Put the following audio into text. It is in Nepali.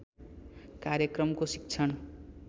कार्यक्रमको शिक्षण